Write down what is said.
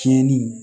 Tiɲɛni